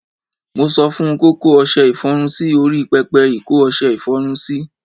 Mo sọ fun kí ó kó ọṣẹ ìfọrun sí orí pẹpẹ ìkó ọṣẹ ìfọrun sí.